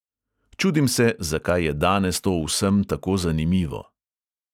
Čudim se, zakaj je danes to vsem tako zanimivo.